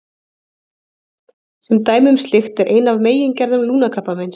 Sem dæmi um slíkt er ein af megingerðum lungnakrabbameins.